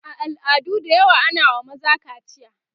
a al'adu da yawa ana wa maza kaciya